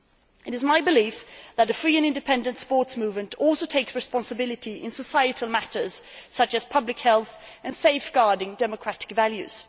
It is my belief that a free and independent sports movement also has a responsibility in societal matters such as public health and safeguarding democratic values.